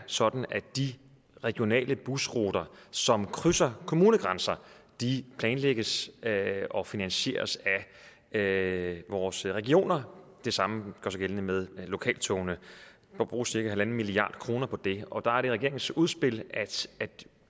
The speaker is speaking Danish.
sådan at de regionale busruter som krydser kommunegrænser planlægges og finansieres af vores regioner og det samme gør sig gældende med lokaltogene der bruges cirka en milliard kroner på det og der er det regeringens udspil at